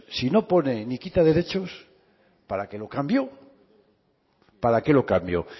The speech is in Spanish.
si no pone ni quita derechos para qué lo cambió para qué lo cambió